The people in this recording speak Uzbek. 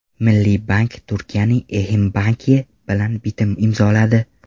Milliy bank Turkiyaning Eximbank’i bilan bitim imzoladi.